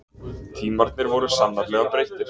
Tímarnir voru sannarlega breyttir.